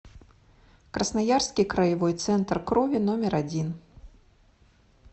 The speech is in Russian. красноярский краевой центр крови номер один